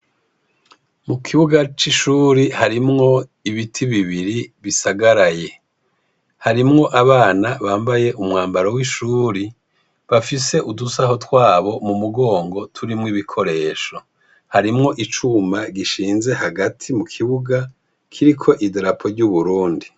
Mu kibuga c'ishuri harimwo ibiti bibiri bisagaraye harimwo abana bambaye umwambaro w'ishuri bafise udusaho twabo mu mugongo turimwo ibikoresho harimwo icuma gishinze hagati mu kibuga kiriko idarapo ry'uburundi.